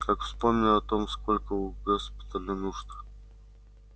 как вспомню о том сколько у госпиталя нужд